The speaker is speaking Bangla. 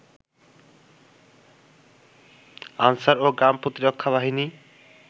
আনসার ও গ্রাম প্রতিরক্ষা বাহিনী